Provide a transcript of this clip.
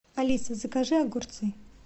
алиса закажи огурцы